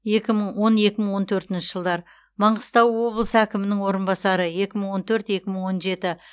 екі мың он екі мың он төртінші жылдар маңғыстау облысы әкімінің орынбасары екі мың он төрт екі мың он жеті